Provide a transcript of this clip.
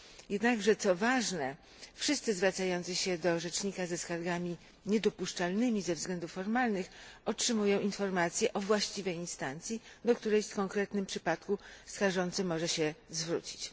Jednakże, co ważne, wszyscy zwracający się do rzecznika ze skargami niedopuszczalnymi ze względów formalnych otrzymują informację o właściwej instancji, do której w konkretnym przypadku skarżący może się zwrócić.